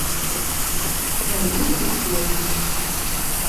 галина григорьевна